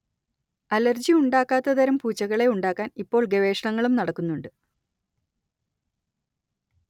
allergy ഉണ്ടാക്കാത്തതരം പൂച്ചകളെ ഉണ്ടാക്കാൻ ഇപ്പോൾ ഗവേഷണങ്ങളും നടക്കുന്നുണ്ട്